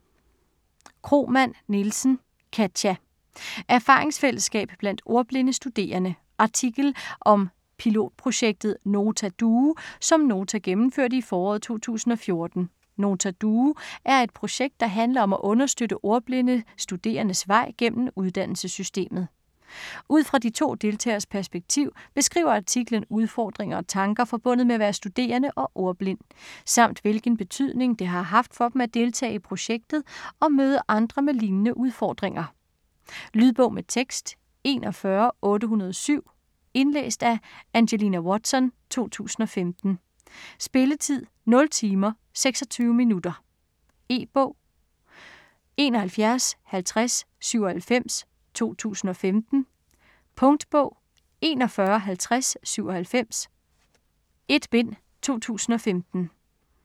Kromann Nielsen, Katia: Erfaringsfællesskab blandt ordblinde studerende Artikel om pilotprojektet Nota Duo som Nota gennemførte i foråret 2014. Nota Duo er et projekt, der handler om at understøtte ordblinde studerendes vej gennem uddannelsessystemet. Ud fra de to deltageres perspektiv beskriver artiklen udfordringer og tanker forbundet med at være studerende og ordblind, samt hvilken betydning det har haft for dem at deltage i projektet og møde andre med lignende udfordringer. Lydbog med tekst 41807 Indlæst af Angelina Watson, 2015. Spilletid: 0 timer, 26 minutter. E-bog 715097 2015. Punktbog 415097 1 bind. 2015.